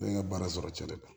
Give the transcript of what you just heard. Ne ye n ka baara sɔrɔ cɛ de kan